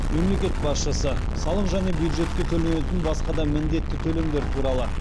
мемлекет басшысы салық және бюджетке төленетін басқа да міндетті төлемдер туралы